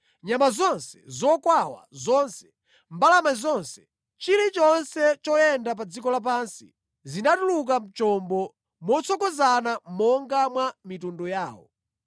Nyama zonse, zokwawa zonse, mbalame zonse, chilichonse choyenda pa dziko lapansi, zinatuluka mʼchombo motsogozana monga mwa mitundu yawo.